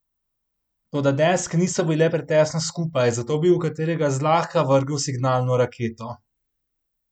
Toda deske niso bile pretesno skupaj, zato bi v katerega zlahka vrgel signalno raketo.